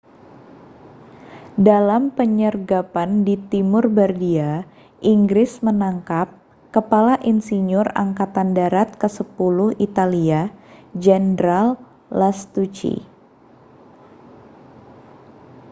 dalam penyergapan di timur bardia inggris menangkap kepala insinyur angkatan darat kesepuluh italia jenderal lastucci